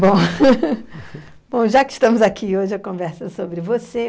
Bom, bom já que estamos aqui, hoje a conversa é sobre você.